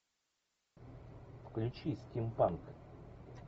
включи стимпанк